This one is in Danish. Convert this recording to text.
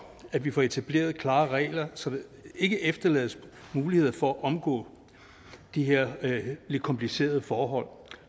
at vi får etableret klare regler så der ikke efterlades muligheder for at omgå de her lidt komplicerede forhold